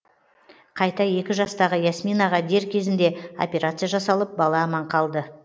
қайта екі жастағы ясминаға дер кезінде операция жасалып бала аман қалды